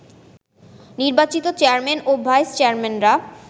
নির্বাচিত চেয়ারম্যান ও ভাইস চেয়ারম্যানরা